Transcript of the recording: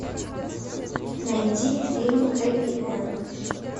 найти фильм хэппи энд